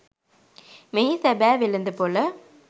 මෙහි සැබෑ වෙළෙඳපොළ